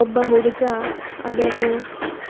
ಒಬ್ಬ ಹುಡುಗ ಅದನ್ನು